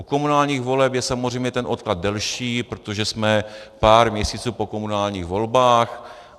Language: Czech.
U komunálních voleb je samozřejmě ten odklad delší, protože jsme pár měsíců po komunálních volbách.